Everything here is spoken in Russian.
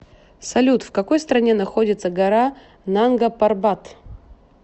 салют в какой стране находится гора нангапарбат